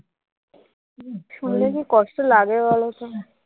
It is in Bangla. শুনলে কি কষ্ট লাগে বলতো ।